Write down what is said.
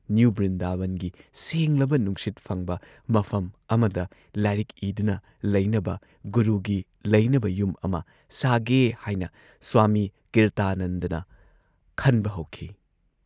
New ꯕ꯭ꯔꯤꯟꯗꯥꯕꯟꯒꯤ ꯁꯦꯡꯂꯕ ꯅꯨꯡꯁꯤꯠ ꯐꯪꯕ ꯃꯐꯝ ꯑꯃꯗ ꯂꯥꯏꯔꯤꯛ ꯏꯗꯨꯅ ꯂꯩꯅꯕ ꯒꯨꯔꯨꯒꯤ ꯂꯩꯅꯕ ꯌꯨꯝ ꯑꯃ ꯁꯥꯒꯦ ꯍꯥꯏꯅ ꯁ꯭ꯋꯥꯃꯤ ꯀꯤꯔꯇꯥꯅꯟꯗꯅ ꯈꯟꯕ ꯍꯧꯈꯤ ꯫